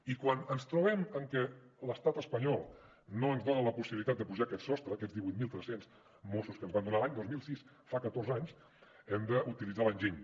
i quan ens trobem amb què l’estat espanyol no ens dona la possibilitat de pujar aquest sostre aquests divuit mil tres cents mossos que ens van donar l’any dos mil sis fa catorze anys hem d’utilitzar l’enginy